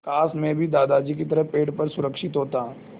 काश मैं भी दादाजी की तरह पेड़ पर सुरक्षित होता